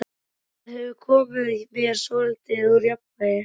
Það hefur komið mér svolítið úr jafnvægi.